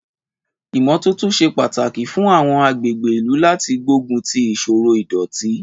Ìmọ́tótó ṣe pàtàkì fún àwọn agbègbè ìlú láti gbógun ti ìṣòro ìdọ̀tí.